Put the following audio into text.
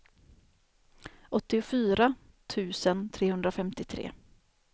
åttiofyra tusen trehundrafemtiotre